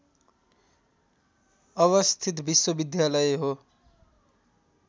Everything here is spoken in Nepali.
अवस्थित विश्वविद्यालय हो